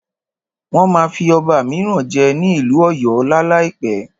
Wọ́n máa fí ọba míràn jẹ ní ìlú ọ̀yọ́ lá láìpẹ́.